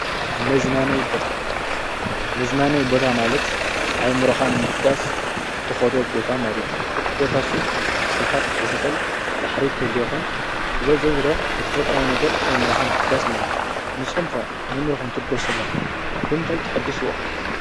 ምዝናነይ ቦታ ማለት ኣይሙረኻን ምሕዳስ ተኾዶ ቦታ ማለት እዩ። እቲቦታሱ ትኽልታት ክሕዝኽል ባሕሪ ሌኾን ዝሎዘዝሮ ብተፈጥራዊ ነገር ኣይምረኻ ምሕዳስ ማልት እዩ ።ንስኹምከ ኣይሙሮኸም ትልበት ዘኣለኹም ብምታይ ትኅድስዎ?